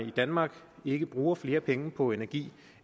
i danmark ikke bruger flere penge på energi